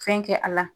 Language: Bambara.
Fɛn kɛ a la